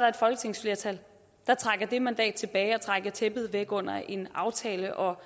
der et folketingsflertal der trækker det mandat tilbage og trækker tæppet væk under en aftale og